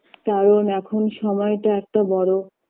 কারণ এখন সময়টা একটা বড়ো